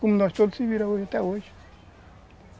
Como nós todos se viramos até hoje.